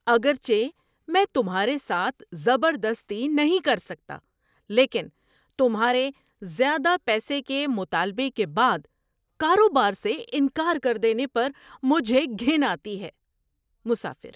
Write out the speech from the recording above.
اگرچہ میں تمہارے ساتھ زبردستی نہیں کر سکتا، لیکن تمہارے زیادہ پیسے کے مطالبے کے بعد کاروبار سے انکار کر دینے پر مجھے گھن آتی ہے۔ (مسافر)